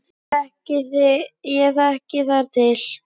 Ég þekki þar til.